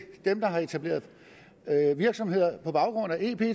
dem der har etableret virksomheder på baggrund af ep